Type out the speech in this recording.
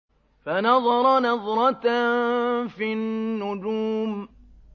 فَنَظَرَ نَظْرَةً فِي النُّجُومِ